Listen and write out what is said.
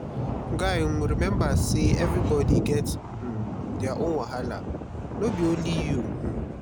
guy um rememba sey everybodi get um their own wahala no be only you. um